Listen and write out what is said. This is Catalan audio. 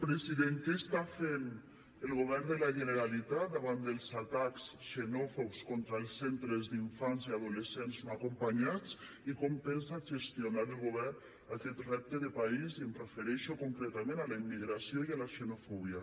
president què està fent el govern de la generalitat davant dels atacs xenòfobs contra els centres d’infants i adolescents no acompanyats i com pensa gestionar el govern aquest repte de país i em refereixo concretament a la immigració i a la xenofòbia